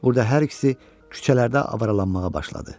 Burada hər ikisi küçələrdə avaralanmağa başladı.